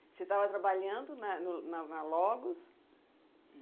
Você estava trabalhando na no na na Logos?